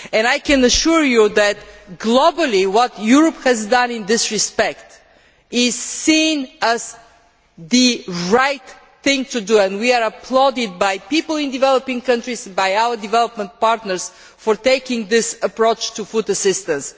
I can assure you that, globally, what Europe has done in this respect is seen as the right thing to do and we are applauded by people in developing countries and by our development partners for taking this approach to food assistance.